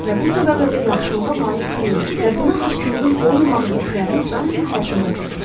Və bu səbəblə də yaxşılığa layiq deyilik və buna haqqımızın olmamağı hisslərini daima həyatımıza çəkmişik.